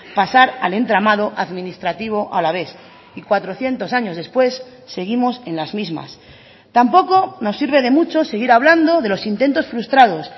pasar al entramado administrativo alavés y cuatrocientos años después seguimos en las mismas tampoco nos sirve de mucho seguir hablando de los intentos frustrados